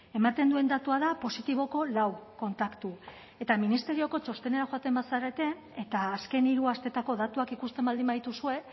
ematen duen datua da positiboko lau kontaktu eta ministerioko txostenera joaten bazarete eta azken hiru asteetako datuak ikusten baldin badituzue